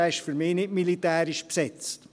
er ist für mich nicht militärisch besetzt.